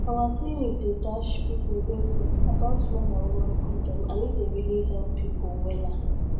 our clinic dey dash people info about man and woman condom and e dey really help people wella